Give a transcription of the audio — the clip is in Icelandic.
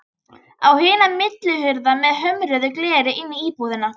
Á hina millihurð með hömruðu gleri inn í íbúðina.